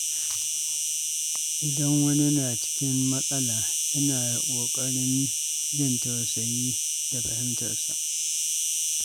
Idan wani na cikin matsala, ina ƙoƙarin jin tausayi da fahimtarsa.